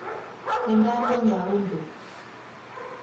Nĩ ndamenya ũndũ